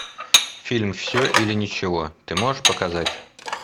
фильм все или ничего ты можешь показать